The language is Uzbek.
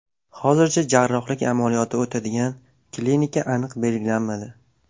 Hozircha jarrohlik amaliyoti o‘tadigan klinika aniq belgilanmadi.